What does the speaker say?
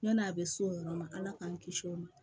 Ɲɔn'a bɛ s'o yɔrɔ ma ala k'an kisi o ma